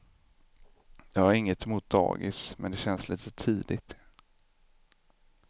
Jag har inget emot dagis men det känns lite tidigt.